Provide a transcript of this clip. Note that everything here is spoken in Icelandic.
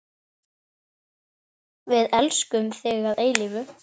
Við elskum þig að eilífu.